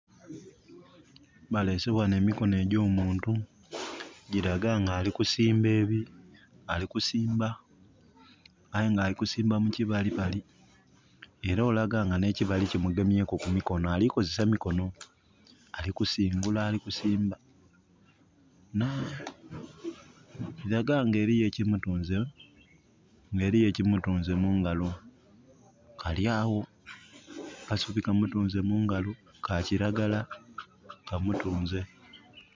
Baleese wano emikono egyo muntu, giraga nga alikusimba ebi..., alikusimba aye nga alukismba mu kibalibali era olaga ne kibali ki mugemyeku kumikono, alikukozesa mikono. Ali kusingula ali kusimba. Naa! Biraga nga eriyo ekimutunze, nga eriyo ekimutunze mungalo. Kalyawo, kasubi kamutunze mungalo, ka kiragala, kamutunze.